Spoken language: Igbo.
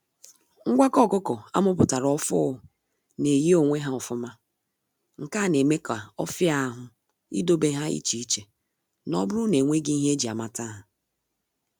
Ngwakọ ọkụkọ amuputara ọfuu na-eyi onwe ha ofụma, nke a na eme ka ọfi ahụ ị dobe ha iche iche, n'oburu na enweghị ihe eji a mata ha.